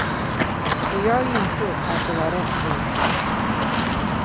Och jag insåg att det var rätt tråkigt.